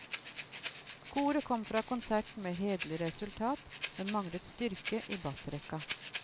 Koret kom fra konserten med hederlig resultat, men manglet styrke i bassrekka.